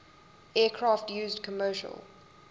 aircraft used commercial